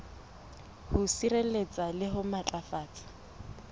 ho sireletsa le ho matlafatsa